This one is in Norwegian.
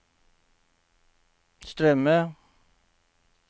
strømme